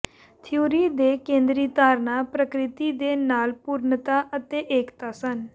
theory ਦੇ ਕੇਂਦਰੀ ਧਾਰਨਾ ਪ੍ਰਕਿਰਤੀ ਦੇ ਨਾਲ ਪੂਰਨਤਾ ਅਤੇ ਏਕਤਾ ਸਨ